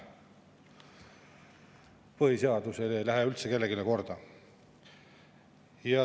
Põhiseadus ei lähe üldse kellelegi korda.